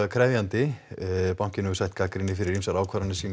krefjandi bankinn hefur sætt gagnrýni fyrir ýmsar ákvarðanir sínar